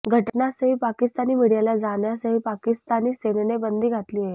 घटनास्थळी पाकिस्तानी मीडियाला जाण्यासही पाकिस्तानी सेनेनं बंदी घातली आहे